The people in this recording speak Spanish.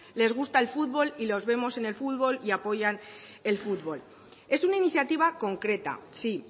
les gusta el fútbol y los vemos en el fútbol y apoyan el fútbol es una iniciativa concreta sí